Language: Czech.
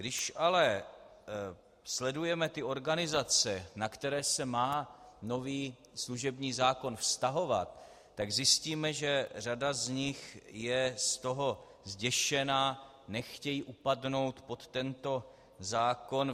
Když ale sledujeme ty organizace, na které se má nový služební zákon vztahovat, tak zjistíme, že řada z nich je z toho zděšena, nechtějí upadnout pod tento zákon.